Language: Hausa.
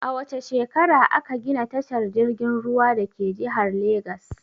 A wace shekara a ka gina tashar jirgin ruwan dake jihar Legas?